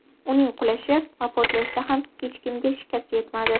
Uning qulashi va portlashida ham hech kimga shikast yetmadi.